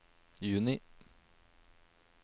juni